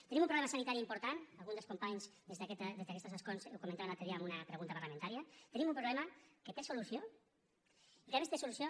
tenim un problema sanitari important algun dels companys des d’aquestos escons ho comentava l’altre dia en una pregunta parlamentària tenim un problema que té solució i que a més té solució